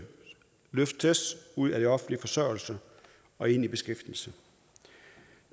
løftes ud af offentlig forsørgelse og ind i beskæftigelse